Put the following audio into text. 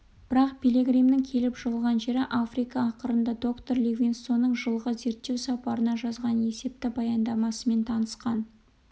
бірақ пилигримнің келіп жығылған жері африка ақырында доктор ливингстонның жылғы зерттеу сапарына жазған есепті баяндамасымен танысқан